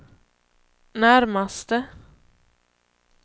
närmaste